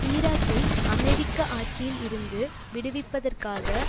ஈராக்கை அமெரிக்க ஆட்சியில் இருந்து விடுவிப்பதற்காக